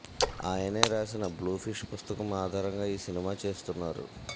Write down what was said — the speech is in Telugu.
ఆయనే రాసిన బ్లూ ఫిష్ పుస్తకం ఆధారంగా ఈ సినిమా చేస్తున్నారు